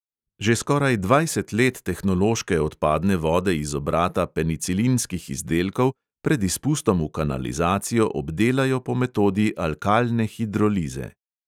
Že skoraj dvajset let tehnološke odpadne vode iz obrata penicilinskih izdelkov pred izpustom v kanalizacijo obdelajo po metodi alkalne hidrolize.